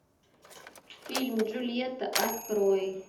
фильм джульетта открой